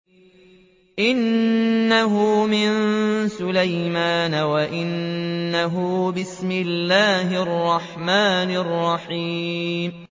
إِنَّهُ مِن سُلَيْمَانَ وَإِنَّهُ بِسْمِ اللَّهِ الرَّحْمَٰنِ الرَّحِيمِ